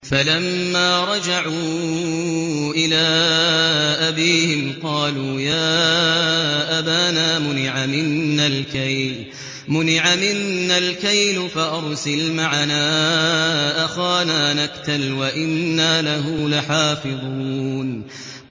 فَلَمَّا رَجَعُوا إِلَىٰ أَبِيهِمْ قَالُوا يَا أَبَانَا مُنِعَ مِنَّا الْكَيْلُ فَأَرْسِلْ مَعَنَا أَخَانَا نَكْتَلْ وَإِنَّا لَهُ لَحَافِظُونَ